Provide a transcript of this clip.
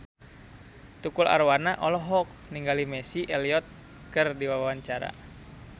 Tukul Arwana olohok ningali Missy Elliott keur diwawancara